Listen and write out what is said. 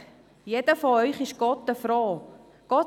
Jeder von Ihnen ist doch froh und denkt: